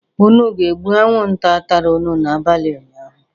Unu ga-egbu anwụnta tara unu n'abalị ụnyaahụ?